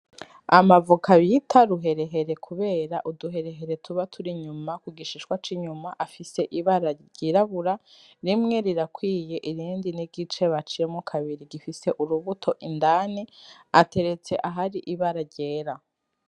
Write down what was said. Amavoka bita ruherehere kubera uduherehere tuba turi inyuma kugishishwa c'inyuma afise ibara ryirabura rimwe rirakwiye irindi n'igice baciyemwo kabiri gifise urubuto indani , ateretse ahari ibara ryera.